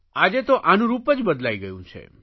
આજે તો આનું રૂપ જ બદલાઇ ગયું છે